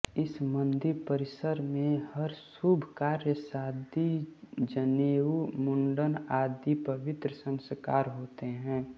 इस मंदिर परिसर में हर शुभ कार्य शादी जनेऊ मंुडन आदि पवित्र संस्कार होते हैं